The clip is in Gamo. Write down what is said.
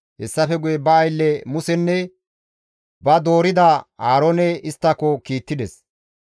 Hessafe guye ba aylle Musenne ba doorida Aaroone isttako kiittides.